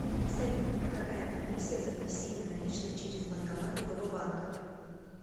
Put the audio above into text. салют какая комиссия за внесение наличных через банкомат другого банка